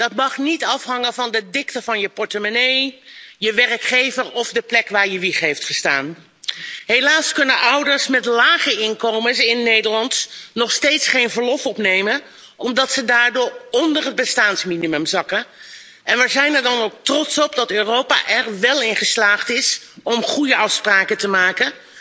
Dat mag niet afhangen van de dikte van je portemonnee, je werkgever of de plek waar je wieg heeft gestaan. Helaas kunnen ouders met lage inkomens in Nederland nog steeds geen verlof opnemen, omdat ze daardoor onder het bestaansminimum zakken, en wij zijn er dan ook trots op dat Europa er wel in geslaagd is om goede afspraken te maken.